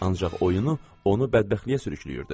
Ancaq oyunu onu bədbəxtliyə sürükləyirdi.